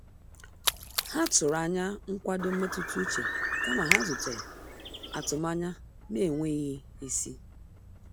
Ha tụrụ anya nkwado mmetụta uche kama ha zutere atụmanya na-enweghị isi.